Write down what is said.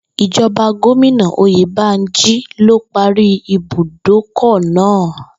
Ìjo̩ba Gómìnà Oyèbánjí ló parí ibùdókò̩ náà